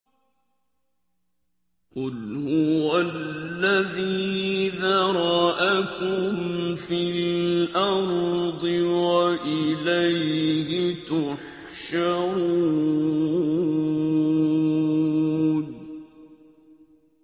قُلْ هُوَ الَّذِي ذَرَأَكُمْ فِي الْأَرْضِ وَإِلَيْهِ تُحْشَرُونَ